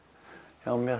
hjá mér